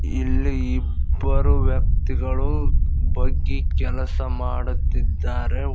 ಇಲ್ಲಿ ಇಬ್ಬರು ವ್ಯಕ್ತಿಗಳು ಬಗ್ಗಿ ಕೆಲಸ ಮಾಡುತ್ತಿದ್ದಾರೆ.